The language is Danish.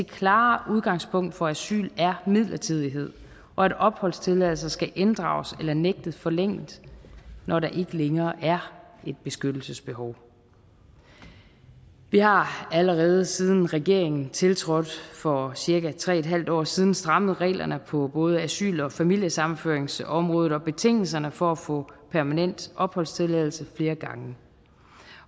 klare udgangspunkt for asyl er midlertidighed og at opholdstilladelser skal inddrages eller nægtes forlænget når der ikke længere er et beskyttelsesbehov vi har allerede siden regeringen tiltrådte for cirka tre en halv år siden strammet reglerne på både asyl og familiesammenføringsområdet og betingelserne for at få permanent opholdstilladelse flere gange